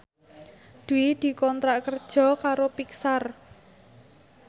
Dwi dikontrak kerja karo Pixar